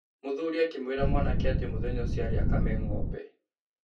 Mũthuri akĩmwĩra mwanake atĩ mũthenya ũcio arĩ akame ng'ombe.